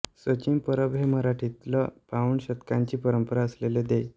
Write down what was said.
सचिन परब हे मराठीतल पाऊण शतकांची परंपरा असलेले दै